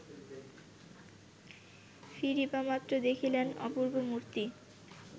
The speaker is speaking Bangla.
ফিরিবামাত্র দেখিলেন, অপূর্ব মূর্তি